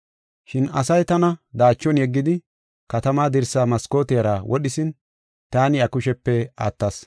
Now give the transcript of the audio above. Shin asay tana daachon yeggidi, katamaa dirsaa maskootiyara wodhisin taani iya kushiyape attas.